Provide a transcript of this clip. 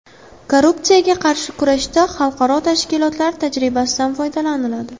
Korrupsiyaga qarshi kurashda Xalqaro tashkilotlar tajribasidan foydalaniladi.